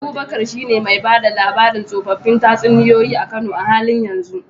Abubakar shine mai ba da labarin tsoffin tatsuniyoyi a Kano a halin yanzu.